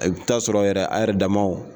I bɛ t'a sɔrɔ yɛrɛ a yɛrɛ damaw